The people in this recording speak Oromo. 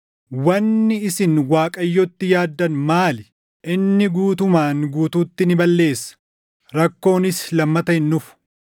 Wanni isin Waaqayyootti yaaddan maali? inni guutumaan guutuutti ni balleessa; rakkoonis lammata hin dhufu.